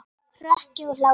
Hroki og hlátur.